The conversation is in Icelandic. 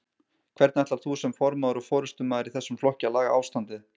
Hvernig ætlar þú sem formaður og forystumaður í þessum flokki að laga ástandið?